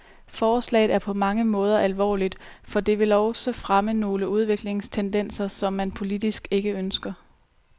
Forslaget er på mange måder alvorligt, for det vil også fremme nogle udviklingstendenser, som man politisk ikke ønsker.